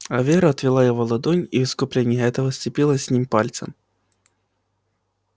а вера отвела его ладонь и в искупление этого сцепилась с ним пальцами